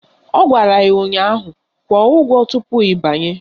Ọ gwara ya ụnyaahụ "Kwụọ ụgwọ tupu ị banye"!